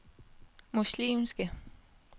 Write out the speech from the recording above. muslimske